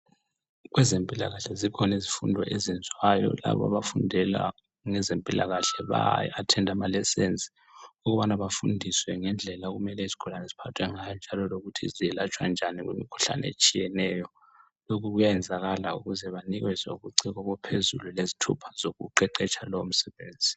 Kwezempilakahle zikhona izifundo ezenziwayo labo abafundela ngezempilakahle. Baya attenda ama lessons ukubana bafundiswe ngendlela okumele izigulane ziphathe ngayo njalo lokuthi zelatshwa njani kumikhuhlane etshiyeneyo. Lokhu kuyayenzakala ukuze banikezwe ubuciko obuphezulu lezithupha zokuqeqetsha lowo msebenzi.